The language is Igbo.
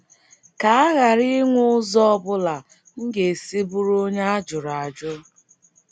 Ka a ghara inwe ụzọ ọ bụla m ga - esi bụrụ onye a jụrụ ajụ.